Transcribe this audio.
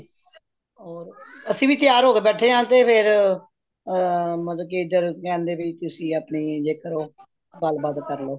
ਹੋਰ ਅਸੀਂ ਵੀ ਤਿਆਰ ਹੋਕੇ ਬੈਠੇ ਹਾਂ ਤੇ ਫ਼ੇਰ ਅਹ ਮਤਲਬ ਕੀ ਇੱਧਰ ਕਹਿੰਦੇ ਵੀ ਤੁਸੀਂ ਆਪਣੀ ਜੇਕਰ ਉਹ ਗੱਲ ਬਾਤ ਕਰਲੋ